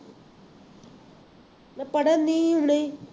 ਅਤੇ ਪੜ੍ਹਨ ਨਹੀਂ ਹੁਣ ਨਹੀਂ